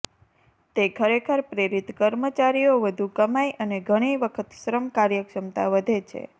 તે ખરેખર પ્રેરિત કર્મચારીઓ વધુ કમાઇ અને ઘણી વખત શ્રમ કાર્યક્ષમતા વધે છે